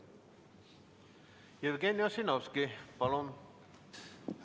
Jevgeni Ossinovski, palun!